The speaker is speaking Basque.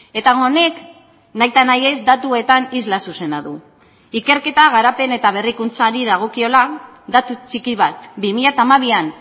eta honek nahita nahiez datuetan isla zuzena du ikerketa garapen eta berrikuntzari dagokiola datu txiki bat bi mila hamabian